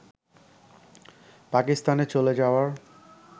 পাকিস্তানে চলে যাওয়ার